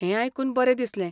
हें आयकून बरें दिसलें.